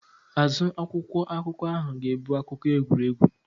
Azụ akwụkwọ akụkọ ahụ ga-ebu akụkọ egwuregwu.